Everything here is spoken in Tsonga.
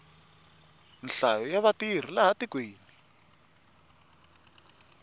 nhlayo ya vatirhi laha tikweni